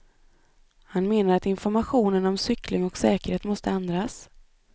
Han menar att informationen om cykling och säkerhet måste ändras.